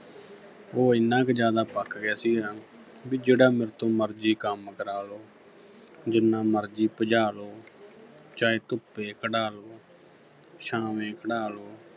ਉਹ ਏਨਾ ਕੁ ਜ਼ਿਆਦਾ ਪੱਕ ਗਿਆ ਸੀਗਾ ਵੀ ਜਿਹੜਾ ਮੇਰੇ ਤੋਂ ਮਰਜ਼ੀ ਕੰਮ ਕਰਾ ਲਉ ਜਿੰਨਾ ਮਰਜ਼ੀ ਭਜਾ ਲਉ ਚਾਹੇ ਧੁੱਪੇ ਖੜਾ ਲਉ ਛਾਵੇਂ ਖੜਾ ਲਉ